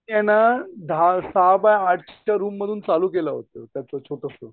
मी आहे ना दहा सहा बाय आठच्या रूम मधून चालू केलं होत छोटंसं